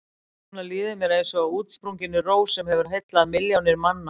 Núna líður mér eins og útsprunginni rós sem hefur heillað milljónir manna.